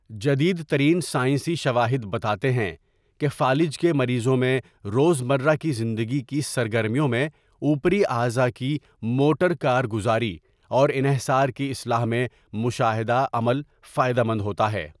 جدید ترین سائینسی شواہد بتاتے ہیں کہ فالج کے مریضوں میں روز مرہ کی زندگی کی سرگرمیوں میں اوپری اعضاء کی موٹر کارگزاری اور انحصار کی اصلاح میں مشاہدہ عمل فائدہ مند ہوتا ہے۔